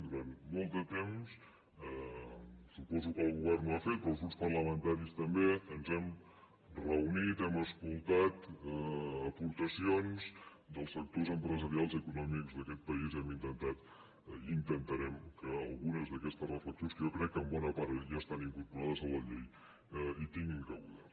durant molt de temps suposo que el govern ho ha fet però els grups parlamentaris també ens hem reunit hem escoltat aportacions dels sectors empresarials i econòmics d’aquest país i hem intentat i intentarem que alguna d’aquestes reflexions que en bona part jo crec que ja estan incorporades a la llei hi tinguin cabuda